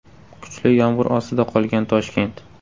Kuchli yomg‘ir ostida qolgan Toshkent.